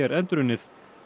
endurunnið